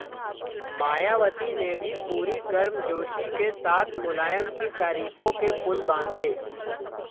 मायावती ने भी पूरी गर्मजोशी के साथ मुलायम की तारीफों के पुल बांधे